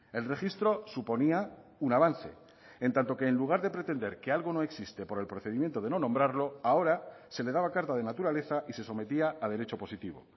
el registro suponía un avance en tanto que en lugar de pretender que algo no existe por el procedimiento de no nombrarlo ahora se le daba carta de naturaleza y se sometía a derecho positivo